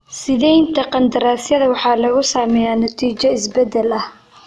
Siidaynta qandaraasyada waxaa lagu sameeyay natiijo isbeddel ah.